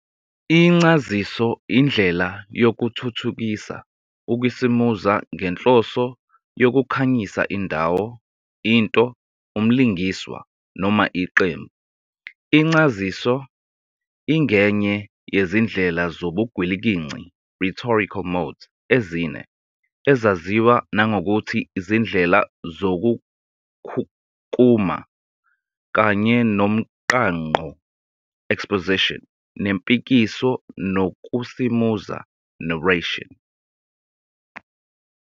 Incaziso indlela yokuthuthukisa ukusimuza ngenhloso yokukhanyisa indawo, into, umlingiswa, noma iqembu. Incaziso ingenye yezindlela zobugwilikinci "rhetorical modes" ezine, ezaziwa nangokuthi izindlela zokukhukuma, kanye nomqangqo "exposition", nempikiso, nokusimuza "narration".